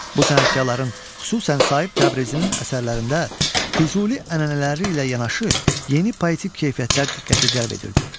Bu sənətkarların, xüsusən Sahib Təbrizinin əsərlərində Füzuli ənənələri ilə yanaşı, yeni poetik keyfiyyətlər diqqəti cəlb edirdi.